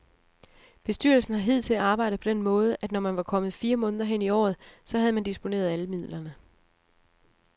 Bestyrelsen har hidtil arbejdet på den måde, at når man var kommet fire måneder hen i året, så havde man disponeret alle midlerne.